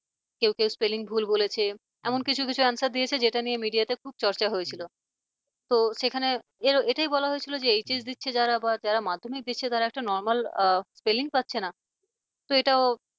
কেউ কেউ spelling ভুল বলেছে এমন কিছু কিছু answer দিয়েছে যেটা নিয়ে media খুব চর্চা হয়েছিল তো সেখানে এটাই বলা হয়েছিল যে HS দিচ্ছে যারা আবার যারা মাধ্যমিক দিচ্ছে তার একটা normal spelling পাচ্ছে না তো এটাও